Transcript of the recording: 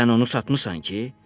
Sən onu satmısan ki?